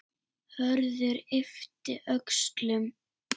Hörður yppti öxlum.